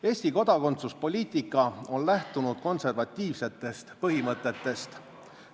Eesti kodakondsuspoliitika on lähtunud konservatiivsetest põhimõtetest.